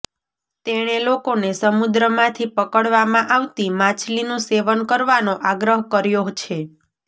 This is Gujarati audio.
તેણે લોકોને સમુદ્રમાંથી પકડવામાં આવતી માછલીનું સેવન કરવાનો આગ્રહ કર્યો છે